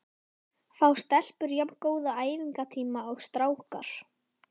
Fá stelpur jafn góða æfingatíma og strákar?